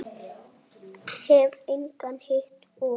Hef engan hitt og.